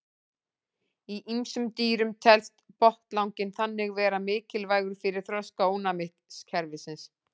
Í ýmsum dýrum telst botnlanginn þannig vera mikilvægur fyrir þroska ónæmiskerfisins.